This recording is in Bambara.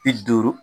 Bi duuru